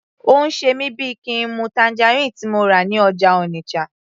Ó ń ṣe mí bíi kín n mu tangerine tí mo rà ní ọjà Onitsha